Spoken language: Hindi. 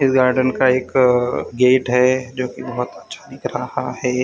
इस गार्डन का एक गेट है जो कि बहुत अच्छा दिख रहा है।